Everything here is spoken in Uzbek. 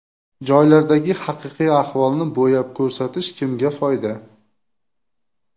Joylardagi haqiqiy ahvolni bo‘yab ko‘rsatish kimga foyda?